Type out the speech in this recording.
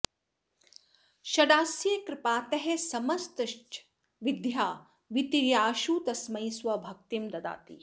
षडास्यः कृपातः समस्ताश्च विद्या वितीर्याशु तस्मै स्वभक्तिं ददाति